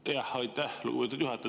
Aitäh, lugupeetud juhataja!